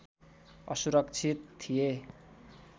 असुरक्षित थिए